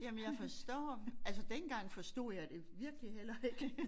Jamen jeg forstår altså dengang forstod jeg det virkelig heller ikke